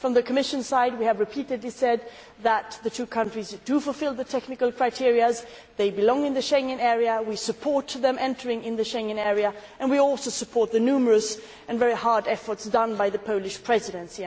From the Commission's side, we have repeatedly said that the two countries fulfil the technical criteria, they belong in the Schengen area, we support them entering the Schengen area and we also support the numerous and very hard efforts made by the Polish Presidency.